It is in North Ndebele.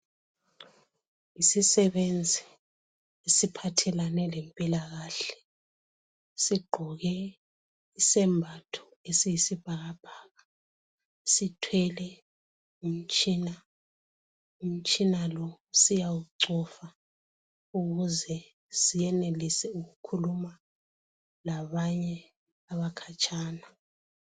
Isisebenzi esiphathelane lempilakahle sigqoke isembatho esiyisibhakabhaka. Sithwele umtshina. Umtshina ko siyawucova ukuze senelise ukukhuluma labanye abakhatshana